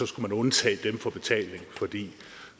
skulle undtage dem for betaling fordi